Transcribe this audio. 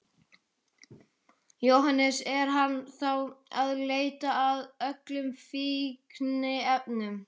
Jóhannes: Er hann þá að leita að öllum fíkniefnum?